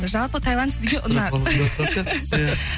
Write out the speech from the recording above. жалпы тайланд сізге ұнады